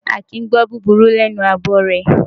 A kìí gbọ́ búburú lẹ́nu abọrẹ̀.